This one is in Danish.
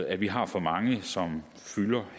at vi har for mange som